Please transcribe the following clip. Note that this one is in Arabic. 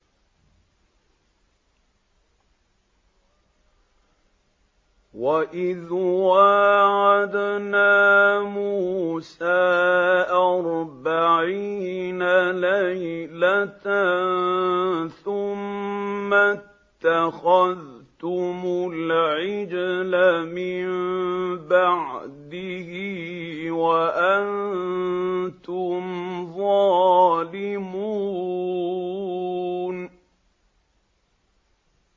وَإِذْ وَاعَدْنَا مُوسَىٰ أَرْبَعِينَ لَيْلَةً ثُمَّ اتَّخَذْتُمُ الْعِجْلَ مِن بَعْدِهِ وَأَنتُمْ ظَالِمُونَ